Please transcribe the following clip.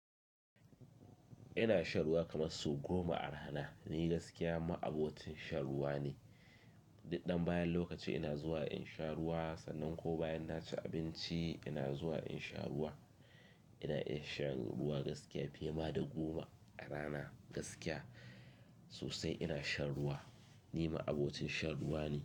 Ina shan ruwa kamar su goma a rana. Ni gaskiya ma'abotin shan ruwa ne. Ni ɗan bayan lokaci ina zuwa in sha ruwa, sannan ko bayan na ci abinci ina zuwa in sha ruwa. Ina iya shan ruwa gaskiya fiye ma da goma a rana gaskiya sosai ina shan ruwa. Ni ma'abotin shan ruwa ne.